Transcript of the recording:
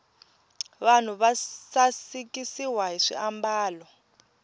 vanhu va sasikiswa hi swiambalo